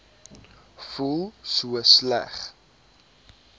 voel so sleg